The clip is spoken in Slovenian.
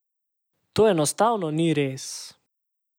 To enostavno ni res.